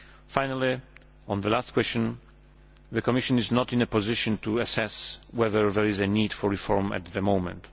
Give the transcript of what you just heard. Finally, on the last question, the Commission is not in a position to assess whether there is a need for reform at the moment.